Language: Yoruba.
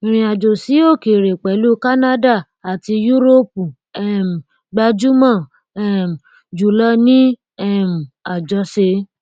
ìrìnàjò sí òkèèrè pẹlú canada àti yúróòpù um gbajúmọ um jùlọ ní um àjọṣe